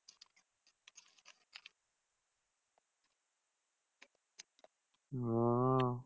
ওহ